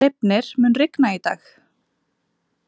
Reifnir, mun rigna í dag?